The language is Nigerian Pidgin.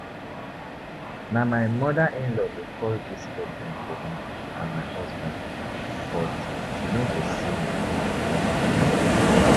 Na my mother in-law dey cause dis problem for me and my husband but she no go see me